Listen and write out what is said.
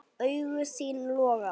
Augu þín loga.